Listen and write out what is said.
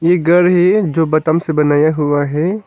ये घर है जो से बनाया हुआ है।